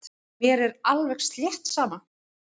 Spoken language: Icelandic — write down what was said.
Mér er alveg slétt sama.